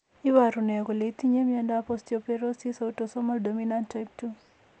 Iporu ne kole itinye miondap Osteopetrosis autosomal dominant type 2?